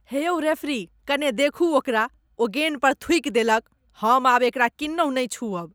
हे यौ रेफरी, कने देखू ओकरा, ओ गेन पर थूकि देलक। हम आब एकरा किन्नहु नहि छूअब।